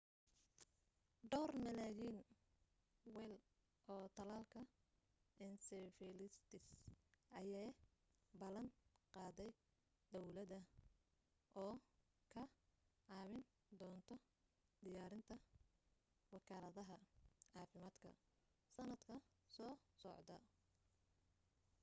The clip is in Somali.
dhawr milyan weel oo talaalka encephalitis ayee ballan qaaday dawladda oo ka caawin doonto diyaarinta wakaaladaha caafimaadka sanadka soo socda